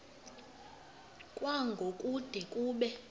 kwango kude kube